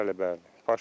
Bəli, bəli.